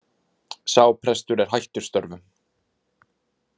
Sá prestur er hættur störfum